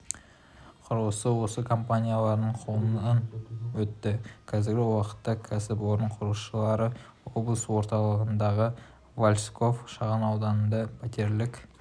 құрылысы осы компанияның қолынан өтті қазіргі уақытта кәсіпорын құрылысшылары облыс орталығындағы васильков шағын ауданында пәтерлік